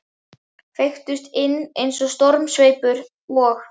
Feyktust inn eins og stormsveipur, og